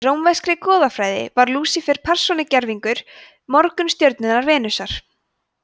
í rómverskri goðafræði var lúsífer persónugervingur morgunstjörnunnar venusar